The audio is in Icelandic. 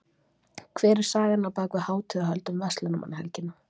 Hver er sagan á bak við hátíðahöld um verslunarmannahelgina?